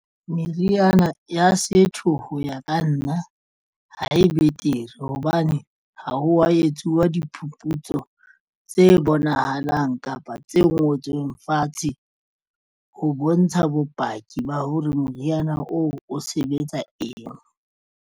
Meriana ya setho ho ya ka nna ha e betere hobane ha wa etsuwa diphuputso tse bonahalang kapa tse ngotsweng fatshe ho bontsha bopaki ba hore moriana oo o sebetsa eng.